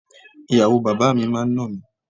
Ìyàwó bàbá mi máa ń nà mí.